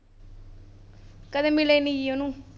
ਕਦੇ ਮਿਲੇ ਨੀ ਜੀ ਉਹਨੂੰ।